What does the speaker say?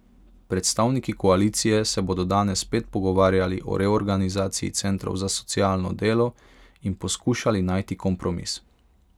Predstavniki koalicije se bodo danes spet pogovarjali o reorganizaciji centrov za socialno delo in poskušali najti kompromis.